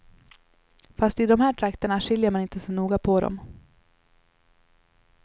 Fast i de här trakterna skiljer man inte så noga på dem.